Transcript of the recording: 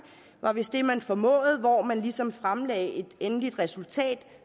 var vist det man formåede at hvor man ligesom fremlagde et endeligt resultat